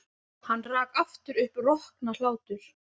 Hann rak aftur upp roknahlátur.